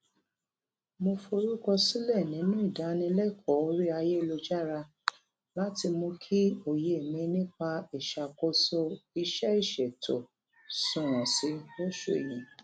mo forúkọsílẹ nínú ìdánilẹkọọ orí ayélujára láti mú kí òye mi nípa ìṣàkóso iṣẹìṣètò sunwọn sí i lóṣù yìí